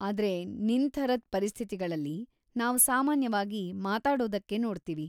ಆದ್ರೆ ನಿನ್ ಥರದ್ ಪರಿಸ್ಥಿತಿಗಳಲ್ಲಿ, ನಾವ್‌ ಸಾಮಾನ್ಯವಾಗಿ ಮಾತಾಡೋದಕ್ಕೇ ನೋಡ್ತೀವಿ.